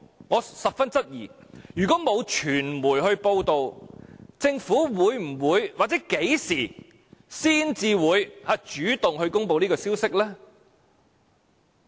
我十分質疑，如果沒有傳媒報道，政府會否或何時才會主動公布這消息呢？